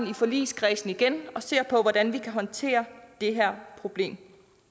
i forligskredsen igen og ser på hvordan vi kan håndtere det her problem